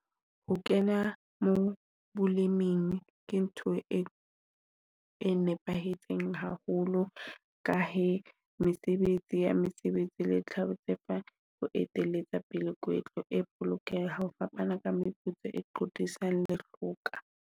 Ho kena mo boleming ke ntho e e nepahetseng haholo. Ka he mesebetsi ya mesebetsi ho eteletsa pele kwetlo e bolokeha ka meputso, qotisana .